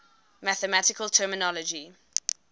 mathematical terminology